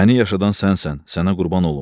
Məni yaşadan sənsən, sənə qurban olum.